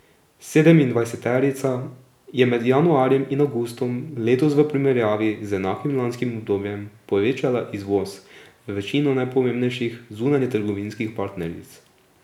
Sedemindvajseterica je med januarjem in avgustom letos v primerjavi z enakim lanskim obdobjem povečala izvoz v večino najpomembnejših zunanjetrgovinskih partneric.